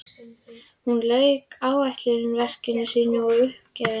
Hún lauk ætlunarverki sínu og er uppgefin.